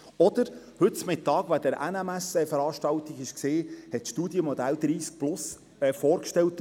Wer an der Veranstaltung der NMS Bern von heute Mittag teilgenommen hat, dem ist das Studienmodell 30+ vorgestellt worden.